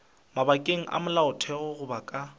mabakeng a molaotheo goba ka